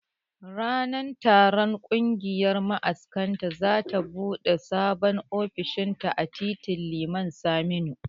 Ranar taron kungiyar ma'askan za ta bude Sabon ofishinta a titin Liman Saminu